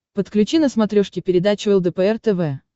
подключи на смотрешке передачу лдпр тв